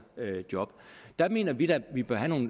job der mener vi da at vi bør have